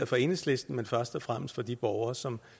for enhedslisten men først og fremmest for de borgere som